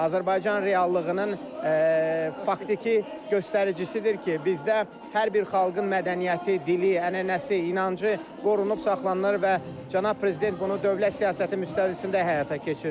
Azərbaycan reallığının faktiki göstəricisidir ki, bizdə hər bir xalqın mədəniyyəti, dili, ənənəsi, inancı qorunub saxlanılır və Cənab Prezident bunu dövlət siyasəti müstəvisində həyata keçirdilir.